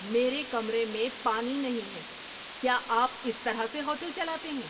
میرے کمرے میں پانی نہیں ہے! کیا آپ اس طرح سے ہوٹل چلاتے ہیں؟